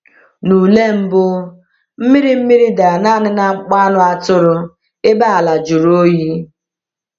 N’ule mbụ, mmiri mmiri dara naanị n’akpụkpọ anụ atụrụ, ebe ala jụrụ oyi.